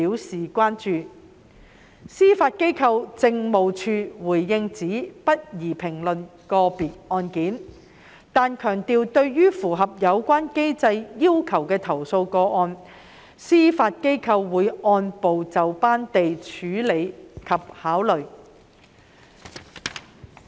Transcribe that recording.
司法機構政務處回應指不宜評論個別案件，但強調對於符合有關機制要求的投訴個案，司法機構會按部就班地處理及考慮。